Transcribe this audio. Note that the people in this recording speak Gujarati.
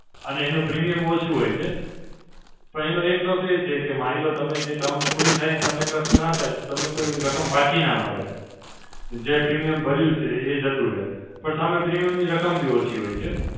અને એનો premium ઓછું હોય છે. પણ એનો એક loss એ છે કે માની લો તમે જે term પૂરી થઈ અને તમને કશું ના થાય. તમને કોઈ રકમ પાછી ના મળે જે premium ભર્યું છે એય જતું રહે. પણ સામે premium ની રકમ બી ઓછી હોય છે.